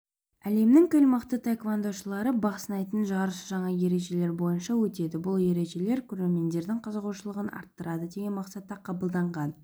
әлемнің кіл мықты таеквондошылары бақ сынайтын жарыс жаңа ережелер бойынша өтеді бұл ережелер көрермендердің қызығушылығын арттырады деген мақсатта қабылданған